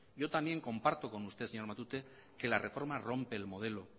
yo también comparto con usted señor matute que la reforma rompe el modelo